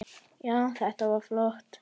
Já, þetta var flott.